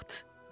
Vaxt.